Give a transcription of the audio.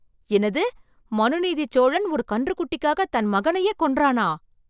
என்னது மனுநீதிச் சோழன் ஒரு கன்றுக்குட்டிக்காக தன் மகனையே கொன்றானா!